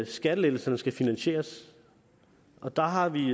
skattelettelserne skal finansieres og der har vi